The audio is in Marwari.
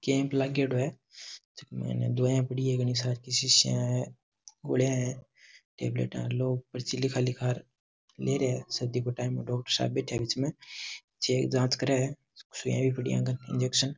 कैंप लागेडो है जकी में दवाइयां पड़ी है घनी सार की शिशिया है गोलियां है टैबलेट लोग पर्ची लिखा लिखा ले रिया है सर्दी काे टाइम है डॉक्टर साहब बैठ्या है बीच में चेक जांच करें हैं सुईया ही पड़ी है इंजेक्शन --